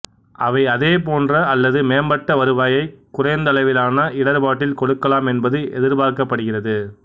அவை அதே போன்ற அல்லது மேம்பட்ட வருவாயை குறைந்தளவிலான இடர்பாட்டில் கொடுக்கலாம் என்பது எதிர்பார்க்கப்படுகிறது